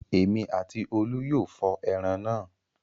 Èmi àti Olú yóò fọ ẹran náà.